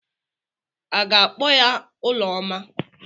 A ga-akpọ ya Ụlọma?